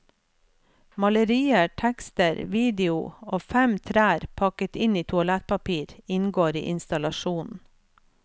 Malerier, tekster, video og fem trær pakket inn i toalettpapir inngår i installasjonen.